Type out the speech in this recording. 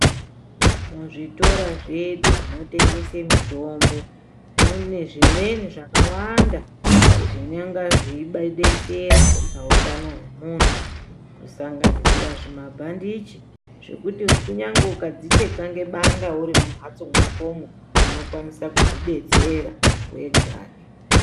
Zvitora zvedu zvinotengese mitombo mune zvimweni zvakawanda zvinenge zveidetsera pautano hwemuntu. Kusanganisira zvimabhandichi zvekuti kunyangwe ukadzicheka nebanga uri mumhatso mwakomwo, unokwanisa kuzvidetsera wegani.